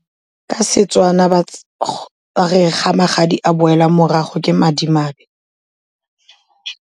Ka seTswana ba re ga magadi a boela morago ke madimabe.